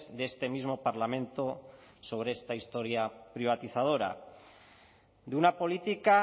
de este mismo parlamento sobre esta historia privatizadora de una política